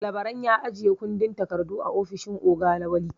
Labaran ya ajiye kundin takardu a ofishin oga Lawali.